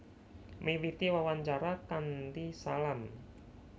Miwiti wawancara kanthi salam